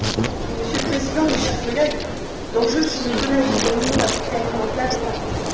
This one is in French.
Monsieur le Président, mes chers collègues, l'enjeu du clonage des animaux à visée alimentaire est important.